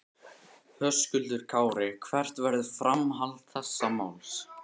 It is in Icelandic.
Höskuldur Kári: Hvert verður framhald þessa máls?